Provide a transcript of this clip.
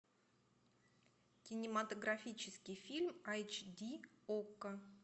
кинематографический фильм айч ди окко